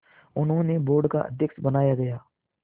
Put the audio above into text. उन्हें बोर्ड का अध्यक्ष बनाया गया